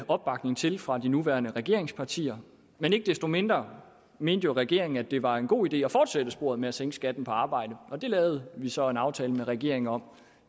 opbakning til det fra de nuværende regeringspartier men ikke desto mindre mente regeringen jo at det var en god idé at fortsætte i sporet med at sænke skatten på arbejde det lavede vi så en aftale med regeringen om